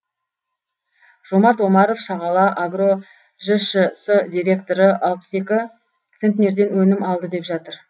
жомарт омаров шағала агро жшс директоры алпыс екі центнерден өнім алды деп жатыр